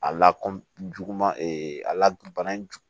A la kɔjuguman a la bana jug